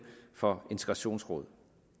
for integrationsråd